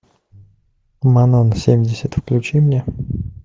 манон семьдесят включи мне